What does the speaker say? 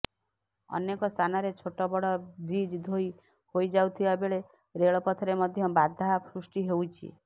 ଅନେକ ସ୍ଥାନରେ ଛୋଟବଡ଼ ବ୍ରିଜ୍ ଧୋଇ ହୋଇଯାଇଥିବା ବେଳେ ରେଳପଥରେ ମଧ୍ୟ ବାଧା ସୃଷ୍ଟି ହୋଇଛି